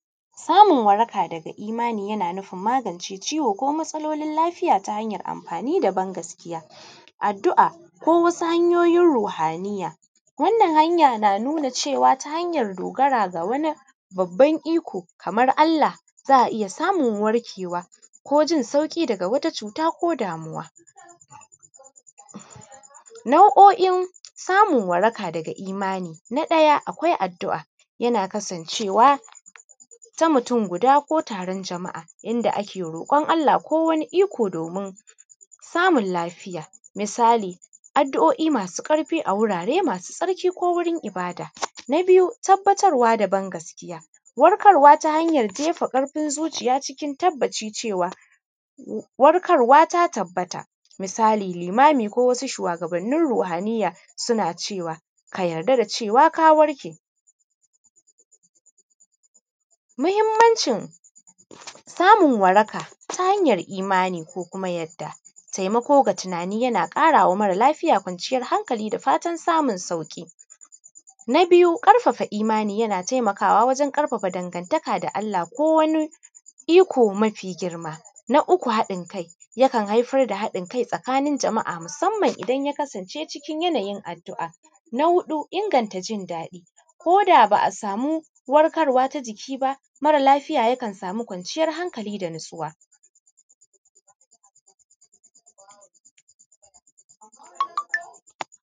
Samun waraka daga Imani yana nufin magance ciwo ko matsalolin lafiya ta hanyar ban-gaskiya, addu’a ko wasu hanyoyin ruhaniyya. Wannan hanya na nuna cewa, ta hanyar dogara ga wanin babban iko kamar Allah, za a iya samun warkewa ko jin sauƙi daga wat acuta ko damuwa. Nau’o’in samun waraka daga Imani. Na ɗaya akwai addu’a, yana kasancewa ta mutum guda ko taron jama’a, inda ake roƙon Allah ko wani iko domin samun lafiya. Misali, addu’o’i masu ƙarfi a wurare masu tsarki ko wurin ibada. Na biyu, tabbatarwa da ban-gaskiya. Warkarwa ta hanyar jefa ƙarfin zuciya cikin tabbaci cewa, warkarwa ta tabbata. Misali, limami ko wasu shuwagabannin ruhaniyya ruhaniyya suna cewa, “ka yarda da cewa ka warke”. Muhimmancin samun waraka ta hanyar imani ko uma yarda, taimako ga tunani yana ƙara wa mara lafiya kwanciyar hankali da fatan samun sauƙi. Na biyu, ƙarfafa imani yana taimakawa wajen ƙarfafa dangantaka da Allah ko wanin iko mafi girma. Na uku, haɗin kai yakan haifar da haɗin kai tsakanin jama’a musamman idan ya kasance cikin yanayin addu’a. Na huɗu, inganta jin daɗi. ko da ba a samu warkarwa ta jiki ba, mara lafiya yakan samu kwanciyar hankali da natsuwa.